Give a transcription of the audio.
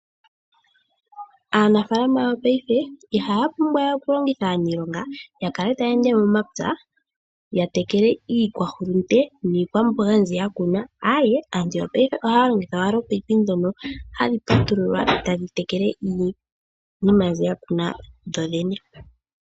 Aanafaalama yopayife ihaya pumbwa we okulongitha aaniilonga yakale taya ende momapya yatekele iikwahulunde niikwamboga mbyi yakuna, aaye aantu yopayife ohaya longitha wala oopayipi dhono hadhipatululwa tadhi tekele iinima dhi yakuna dhodhene.